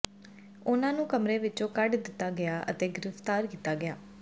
ਉਨ੍ਹਾਂ ਨੂੰ ਕਮਰੇ ਵਿਚੋਂ ਕੱਢ ਦਿੱਤਾ ਗਿਆ ਅਤੇ ਗ੍ਰਿਫਤਾਰ ਕੀਤਾ ਗਿਆ